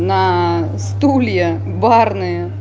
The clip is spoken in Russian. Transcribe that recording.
на стулья барные